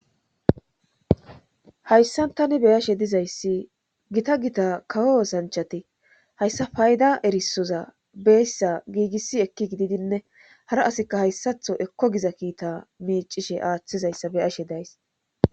hayssan tani beyashe dizayssi gita gita kawo sanchati hayssa payda erisoza beyssa giigissi ekki gididinne hara asika hayssatho ekko giza kiita miicishe aaththizayssa beyashe days